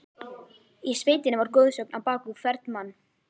Í sveitinni var goðsögn á bak við hvern mann.